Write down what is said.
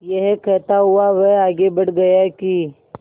यह कहता हुआ वह आगे बढ़ गया कि